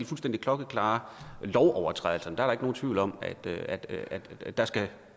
fuldstændig klokkeklare lovovertrædelser er der nogen tvivl om at der skal